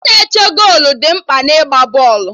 Ndị na-eche golu dị mkpa na ịgba bọọlụ